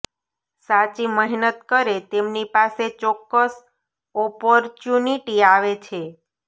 સાચી મહેનત કરે તેમની પાસે ચોકકસ ઓપોર્ચ્યુનીટી આવે છે